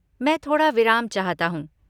मैं थोड़ा विराम चाहता हूँ।